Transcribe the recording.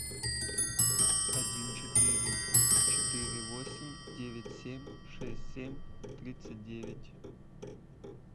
один четыре четыре восемь девять семь шесть семь тридцать девять